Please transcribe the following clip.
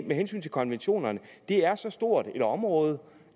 med hensyn til konventionerne er så stort et område